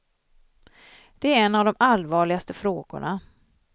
Det är en av de allvarligaste frågorna.